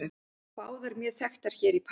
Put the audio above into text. Báðar mjög þekktar hér í París.